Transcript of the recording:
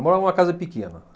Eu morava numa casa pequena.